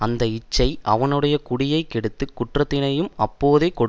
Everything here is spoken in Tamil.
அந்த இச்சை அவனுடைய குடியை கெடுத்து குற்றத்தினையும் அப்போதே கொடுக்கும்